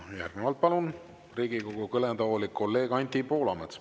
Järgnevalt palun Riigikogu kõnetooli kolleeg Anti Poolametsa.